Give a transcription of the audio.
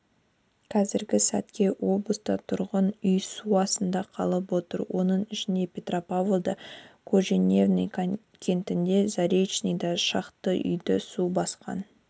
қазіргі сәтке облыста тұрғын үй су астында қалып отыр оның ішінде петропавлда кожевенный кентінде заречныйда шақты үйды су басқан